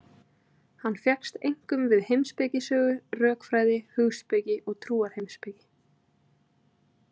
Hann fékkst einkum við heimspekisögu, rökfræði, hugspeki og trúarheimspeki.